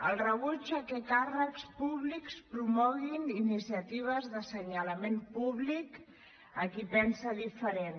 el rebuig al fet que càrrecs públics promoguin iniciatives d’assenyalament públic a qui pensa diferent